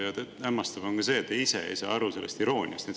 Ja hämmastav on ka see, et te ise ei saa aru sellest irooniast.